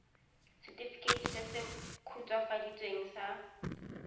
setefikeiti se se khutswafaditsweng sa